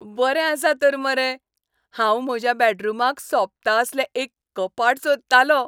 बरें आसा तर मरे! हांव म्हज्या बॅडरूमाक सोबता असलें एक कपाट सोदतालों.